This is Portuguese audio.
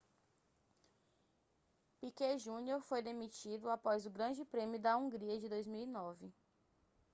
piquet jr foi demitido após o grande prêmio da hungria de 2009